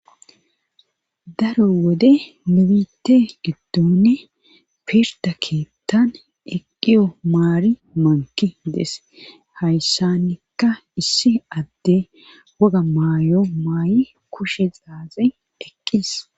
Daro wode nubite giddonne pirda keettan eqqiyo maari manki dees hayssanikka issi adde woga maayo maayi kushe xaazin eqqis